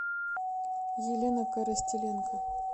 елена коростеленко